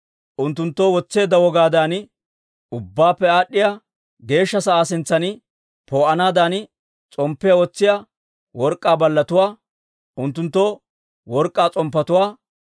unttunttoo wotseedda wogaadan Ubbaappe Aad'd'iyaa Geeshsha sa'aa sintsan poo'anaadan s'omppiyaa wotsiyaa work'k'aa ballatuwaa, unttunttu work'k'aa s'omppetuwaa,